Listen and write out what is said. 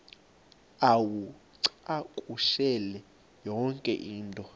uwacakushele yonke into